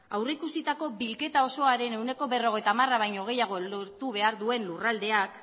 aurreikusitako bilketa osoaren ehuneko berrogeita hamara baino gehiago lortu behar duen lurraldeak